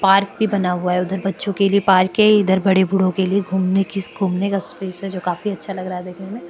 park भी बना हुआ है उदर बच्चो के लिये पार्कय इदर बडे बुढो केलिये घुमणे की घुमणे का स्पेस जो काफी अच्छा लग रहा है देखने में --